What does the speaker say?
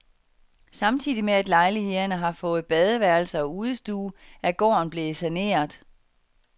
Samtidig med at lejlighederne har fået badeværelse og udestue, er gården blevet saneret.